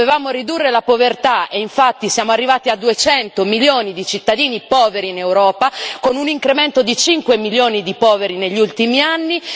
Dovevamo ridurre la povertà e infatti siamo arrivati a 200 milioni di cittadini poveri in Europa, con un incremento di 5 milioni di poveri negli ultimi anni.